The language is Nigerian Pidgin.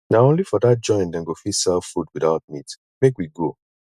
na only for dat joint dem go fit sell food witout meat make we go